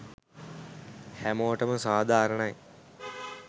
හැමෝටම සාධාරණයි